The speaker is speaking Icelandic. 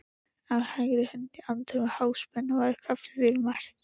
Á hægri hönd í anddyri Háspennu var kaffivél merkt